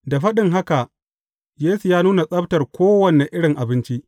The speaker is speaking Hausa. Da faɗin haka, Yesu ya nuna tsabtar kowane irin abinci.